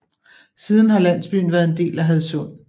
Siden har landsbyen været en del af Hadsund